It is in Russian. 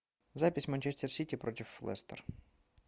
запись манчестер сити против лестер